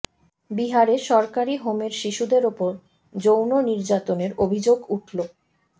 বিহারে সরকারি হোমের শিশুদের ওপর যৌন নির্যাতনের অভিযোগ উঠল